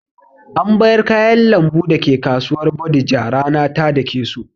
An bar kayan lambu dake kasuwar bodija rana ta dake su